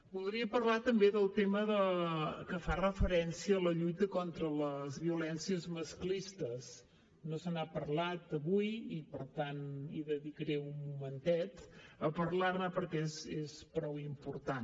voldria parlar també del tema que fa referència a la lluita contra les violències masclistes no se n’ha parlat avui i per tant hi dedicaré un momentet a parlar ne perquè és prou important